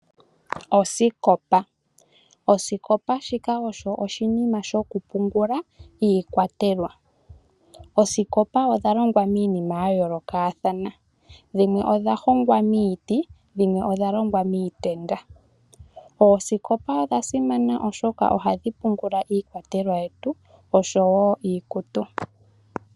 Osikopa Osikopa shika osho oshinima shoku pungula iikwatelwa. Oosikopa odha longwa miinima ya yoolokathana, dhimwe odha hongwa miiti, dhimwe odha longwa miitenda. Oosikopa odha simana, oshoka ohadhi pungula iikwatelwa yetu oshowo iikutu.